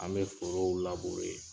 An bɛ forow